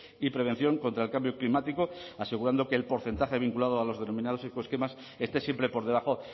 y prevención contra el cambio climático asegurando que el porcentaje vinculado a los denominados ecoesquemas esté siempre por debajo